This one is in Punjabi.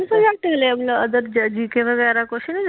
ਤਿੰਨ ਸੁਬਜੇਕਟ gk ਵਗੈਰਾ ਕੁਛ ਨਹੀਂ ਦਿੱਤਾ?